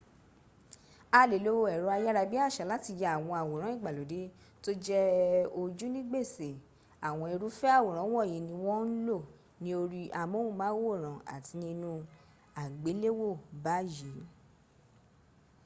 a le lo ẹ̀rọ ayárabíàṣá láti ya àwọn awòrán ìgbàlódé tó jẹ ojú ni gbèsè àwọn irúfẹ́ àwòrán wọ̀nyí ni wọ́n ń lo ní orí amóhùnmáwòrán àti ní inú àgbéléwò báyìí